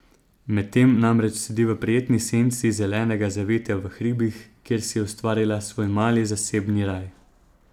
Medtem namreč sedi v prijetni senci zelenega zavetja v hribih, kjer si je ustvaril svoj mali zasebni raj.